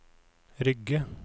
Rygge